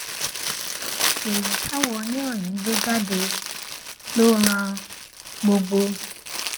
ìròyìn táwọn oníròyìn gbé jáde ló ran gbogbo